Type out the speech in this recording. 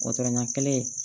ɲɛ kelen